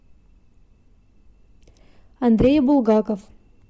андрей булгаков